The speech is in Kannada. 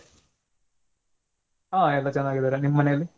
ಹಾ ಎಲ್ಲ ಚೆನ್ನಾಗಿದ್ದರೆ ನಿಮ್ಮ ಮನೇಲಿ?